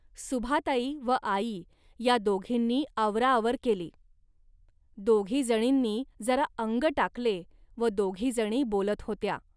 सुभाताई व आई या दोघींनी आवराआवर केली. दोघी जणींनी जरा अंग टाकले व दोघीजणी बोलत होत्या